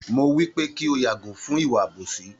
Mo wípé kí o yàgò fún ìwà àbòsí